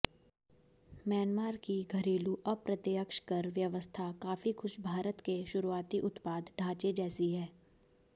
Myanmar की घरेलू अप्रत्यक्ष कर व्यवस्था काफी कुछ भारत के शुरुआती उत्पाद ढांचे जैसी है